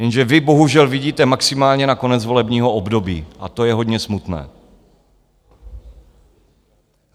Jenže vy bohužel vidíte maximálně na konec volebního období, a to je hodně smutné!